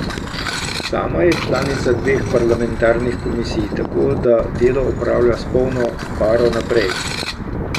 Sama je članica dveh parlamentarnih komisij, tako da delo opravlja s polno paro naprej.